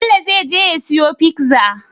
Bello zai je ya siyo pizza